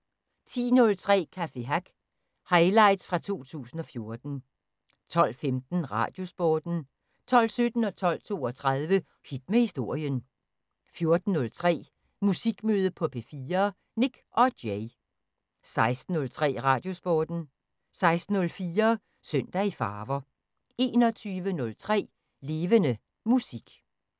10:03: Café Hack – Highlights fra 2014 12:15: Radiosporten 12:17: Hit med Historien 12:32: Hit med Historien 14:03: Musikmøde på P4: Nik & Jay 16:03: Radiosporten 16:04: Søndag i Farver 21:03: Levende Musik